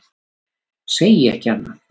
Segi ekki annað.